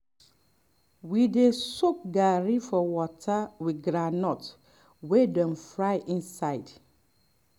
dem dey soak garri for water with groundnut wey dem fry inside